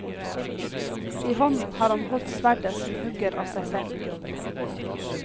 I hånden har han holdt sverdet som hugger av seg selv.